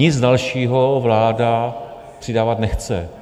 Nic dalšího vláda přidávat nechce.